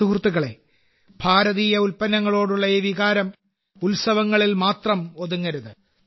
സുഹൃത്തുക്കളേ ഭാരതീയ ഉൽപന്നങ്ങളോടുള്ള ഈ വികാരം ഉത്സവങ്ങളിൽ മാത്രം ഒതുങ്ങരുത്